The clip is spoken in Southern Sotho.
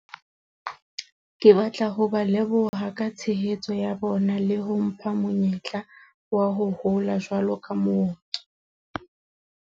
Ke batla ho ba leboha ka tshehetso ya bona le ho mpha monyetla wa ho hola jwalo ka mooki.